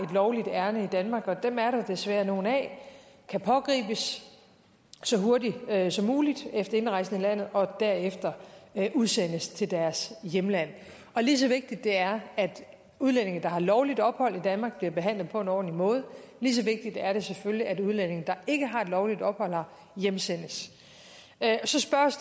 lovligt ærinde i danmark og dem er der desværre nogle af kan pågribes så hurtigt som muligt efter indrejsen i landet og derefter udsendes til deres hjemland og lige så vigtigt det er at udlændinge der har lovligt ophold i danmark bliver behandlet på en ordentlig måde lige så vigtigt er det selvfølgelig at udlændinge der ikke har et lovligt ophold her hjemsendes så spørges